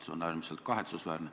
See on äärmiselt kahetsusväärne.